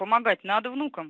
помогать надо внукам